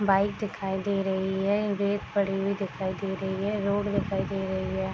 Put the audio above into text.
Bike दिखाई दे रही है रेत पड़ी हुई दिखाई दे रही है रोड दिखाई दे रही है।